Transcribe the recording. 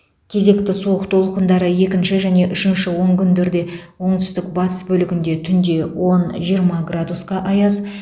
кезекті суық толқындары екінші және үшінші онкүндерде оңтүстік батыс бөлігінде түнде он жиырма градусқа аяз